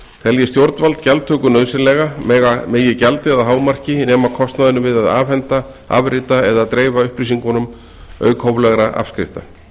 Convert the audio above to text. telji stjórnvald gjaldtöku nauðsynlega megi gjaldið að hámarki nema kostnaðinum við að afhenda afrita eða dreifa upplýsingunum auk hóflegra afskrifta